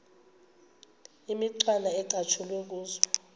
imicwana ecatshulwe kuzo